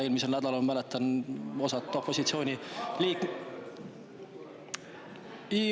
Eelmisel nädalal, ma mäletan, osa opositsiooniliikmeid ...